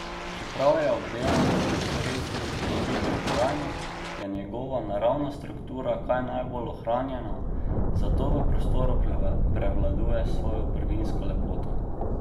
Čeprav je obdelan s sredstvi za zaščito in trajnost, je njegova naravna struktura kar najbolj ohranjena, zato v prostoru prevladuje s svojo prvinsko lepoto.